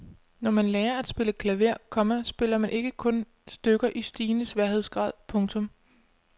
Når man lærer at spille klaver, komma spiller man ikke kun stykker i stigende sværhedsgrad. punktum